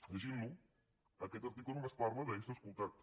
llegint lo aquest article només parla d’ésser escoltats